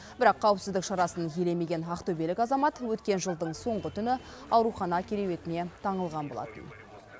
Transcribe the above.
бірақ қауіпсіздік шарасын елемеген ақтөбелік азамат өткен жылдың соңғы түні аурухана кереуетіне таңылған болатын